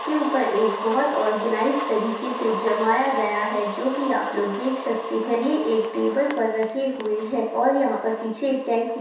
एक के ऊपर एक ऑर्गनाइझ तरीके से जमाया गया है जो की आप लोग देख सकते है ये एक टेबल पर रखे हुए है और यहा पीछे एक टैंक भी--